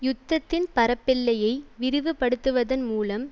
யுத்தத்தின் பரப்பெல்லையை விரிவு படுத்துவதன் மூலம்